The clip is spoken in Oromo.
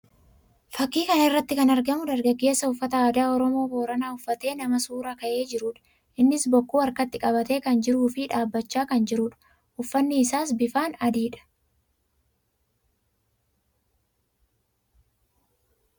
Fakkii kana irratti kan argamu dargaggeessa uffata aadaa Oromoo Booranaa uffatee nama suuraa ka'ee jiruu dha. Innis bokkuu harkatti qabatee kan jiruu fi dhaabbachaa kan jiruu dha. Uffanni isaas bifaan adii dha.